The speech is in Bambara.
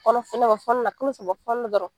Kɔnɔ kalo saba fɔnɔ dɔrɔn.